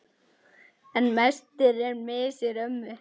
En mestur er missir ömmu.